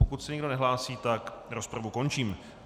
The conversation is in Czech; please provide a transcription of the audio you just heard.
Pokud se nikdo nehlásí, tak rozpravu končím.